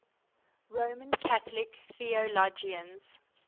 roman catholic theologians